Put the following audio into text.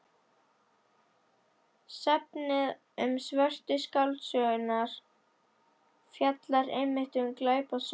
Safnið um Svörtu skáldsöguna fjallar einmitt um glæpasögur.